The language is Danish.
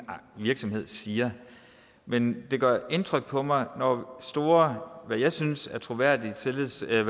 virksomhed siger men det gør indtryk på mig når store hvad jeg synes er troværdige og tillidsvækkende